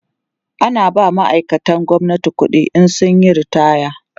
ana ba ma'aikatan gwamnati ƙuɗi in sun Yi ritaya